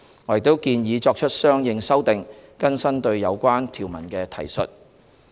我們亦建議作出相應修訂，更新對有關條文的提述。